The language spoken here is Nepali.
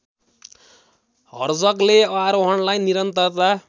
हर्जगले आरोहणलाई निरन्तरता